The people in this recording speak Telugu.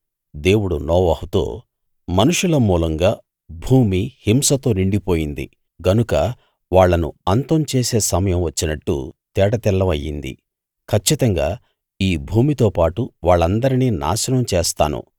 దేవుడు నోవహుతో మనుషుల మూలంగా భూమి హింసతో నిండిపోయింది గనుక వాళ్ళను అంతం చేసే సమయం వచ్చినట్టు తేటతెల్లం అయింది కచ్చితంగా ఈ భూమితోపాటు వాళ్ళందరినీ నాశనం చేస్తాను